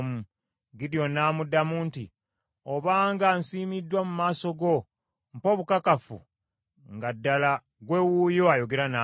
Gidyoni n’amuddamu nti, “Obanga nsiimiddwa mu maaso go mpa obukakafu nga ddala ggwe wuuyo ayogera nange.